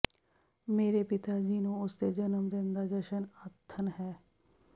ਮੇਰੇ ਪਿਤਾ ਜੀ ਨੂੰ ਉਸ ਦੇ ਜਨਮ ਦਿਨ ਦਾ ਜਸ਼ਨ ਆਥਣ ਹੈ